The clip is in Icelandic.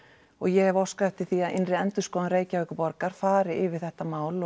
og ég hef óskað eftir því að innri endurskoðun Reykjavíkurborgar fari yfir þetta mál